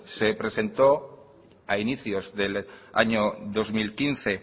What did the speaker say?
se presentó a inicios del año dos mil quince